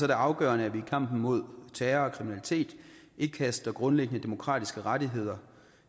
det afgørende at vi i kampen mod terror og kriminalitet ikke kaster grundlæggende demokratiske rettigheder